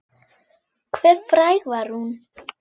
Hve fræg var hún?